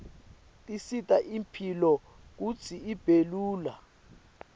tisita imphilo kutsi ibe lula